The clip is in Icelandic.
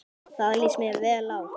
Það líst mér vel á.